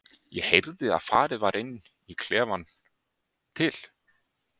Ég heyrði að farið var inn í klefann til